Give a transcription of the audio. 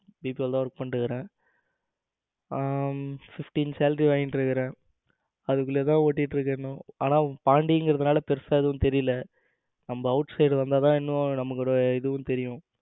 BPO தான் work பண்ணிக்கிட்டு இருக்கேன். அஹ fifteen salary வாங்கிட்டு இருக்குறேன். அதுக்குள்ளே தான் ஓடிக்கிட்டு இருக்கு இன்னும். ஆனா அத தாண்டி அதனால பெருசா ஒன்னும் தெரியல நம்ம out side வந்தா தான் இன்னும் நமக்கு ஒரு இதுவும் தெரியும்.